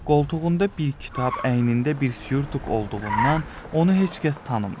qoltuğunda bir kitab, əynində bir surtuk olduğundan onu heç kəs tanımır.